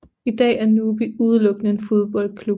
I dag er NUBI udelukkende en fodboldklub